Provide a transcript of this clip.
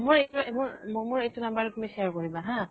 মোৰ এইতোয়ে মৰ মোৰ মোৰ এইতো number তুমি share কৰিবা হা।